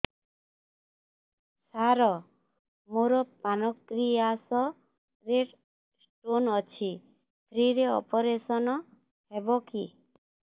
ସାର ମୋର ପାନକ୍ରିଆସ ରେ ସ୍ଟୋନ ଅଛି ଫ୍ରି ରେ ଅପେରସନ ହେବ କି